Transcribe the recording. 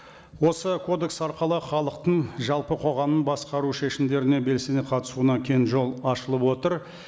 осы кодекс арқылы халықтың жалпы қоғамның басқару шешімдеріне белсене қатысуына кең жол ашылып отыр